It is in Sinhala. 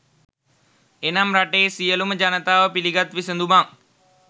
එනම් රටේ සියලුම ජනතාව පිළිගත් විසඳුමක්